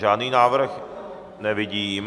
Žádný návrh nevidím.